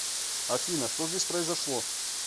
афина что здесь произошло